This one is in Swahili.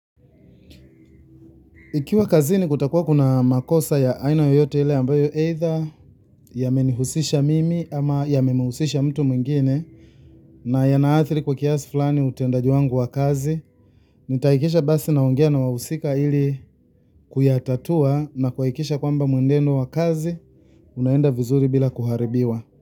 Ikiwa kazini kutakuwa kuna makosa ya aina yoyote ile ambayo either yamenihusisha mimi ama yamemhusisha mtu mwingine na yana athiri kwa kiasi fulani utendaji wangu wa kazi, nitahakikisha basi naongea na wahusika ili kuyatatua na kuhakikisha kwamba mwenendo wa kazi, unaenda vizuri bila kuharibiwa.